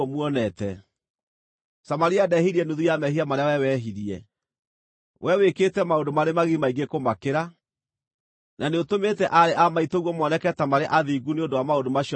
Samaria ndehirie nuthu ya mehia marĩa wee wehirie. Wee wĩkĩte maũndũ marĩ magigi maingĩ kũmakĩra, na nĩũtũmĩte aarĩ a maitũguo moneke ta marĩ athingu nĩ ũndũ wa maũndũ macio mothe wĩkĩte.